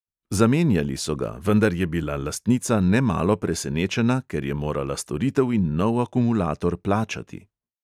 Zamenjali so ga, vendar je bila lastnica nemalo presenečena, ker je morala storitev in nov akumulator plačati.